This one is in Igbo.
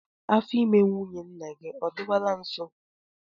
Afọ ime nwunye nna gị ọ dịwala nso?